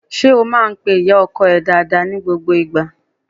Ṣé o máá ń pe ìyá ọkọ ẹ dáadáa ni gbogbo ìgbà?